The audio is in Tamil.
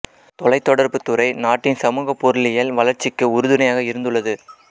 தொலைத்தொடர்புத் துறை நாட்டின் சமூக பொருளியல் வளர்ச்சிக்கு உறுதுணையாக இருந்துள்ளது